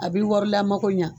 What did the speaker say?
A be warila mago ɲa